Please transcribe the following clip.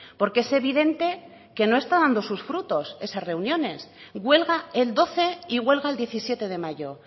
porque es evidente que no está dando sus frutos esas reuniones huelga el doce y huelga el diecisiete de mayo